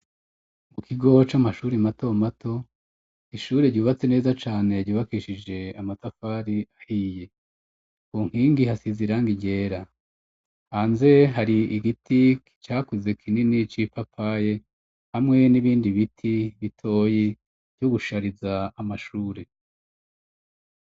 Mu kigo c'amashuri mato mato ishure ryubatse neza cane ryubakishije amatafari ahiye ku nkingi hasize irangi ryera hanze hari igiti cakuze kinini c'ipapaye hamwe n'ibindi biti bitoyi vyo gushariza amashure.